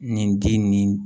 Nin di nin